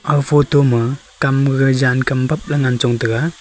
aga photo ma kam gaga jan kam bab chong ngan taiga.